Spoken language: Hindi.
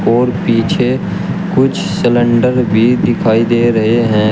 और पीछे कुछ सिलेंडर भी दिखाई दे रहे हैं।